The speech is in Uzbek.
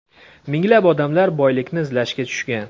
Minglab odamlar boylikni izlashga tushgan.